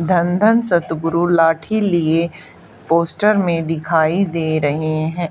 धन धन सतगुरु लाठी लिए पोस्टर में दिखाई दे रहे हैं